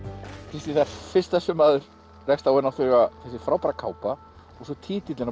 Kristín það fyrsta sem maður rekst á er þessi frábæra kápa og svo titillinn á